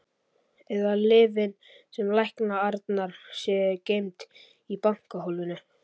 Eða að lyfin sem lækna Arnar séu geymd í bankahólfinu.